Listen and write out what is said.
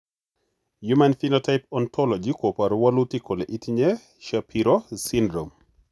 human Phenotype Ontology koporu wolutik kole itinye Shapiro syndrome.